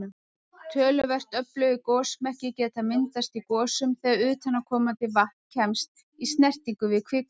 Töluvert öflugir gosmekkir geta myndast í gosum þegar utanaðkomandi vatn kemst í snertingu við kvikuna.